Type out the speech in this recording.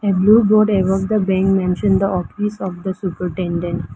A blue board above the bank mentioned the office of the supertendent .